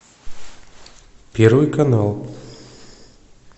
первый канал